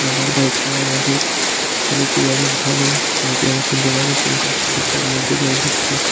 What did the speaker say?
রাখার দায়িত্ব আমাদের ছেলেটি অনেক ভালো ছেলেটি অনেক সুন্দরভাবে ফুল গাছটিকে মধ্যে জল দিচ্ছে।